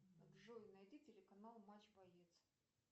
джой найди телеканал матч боец